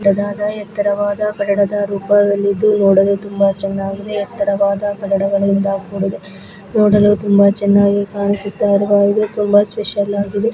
ದೊಡ್ಡದಾದ ಎತ್ತರವಾದ ಇದ್ದು ನೋಡಲು ತುಂಬಾ ಚೆನ್ನಾಗಿದೆ ಎತ್ತರವಾದ ಕೂಡಿದೆ ನೋಡಲು ತುಂಬಾ ಚೆನ್ನಾಗಿ ಕಾಣಿಸುತ್ತಿರುವ ಇದೆ ತುಂಬಾ ಸ್ಪೆಷಲ್ ಆಗಿದೆ .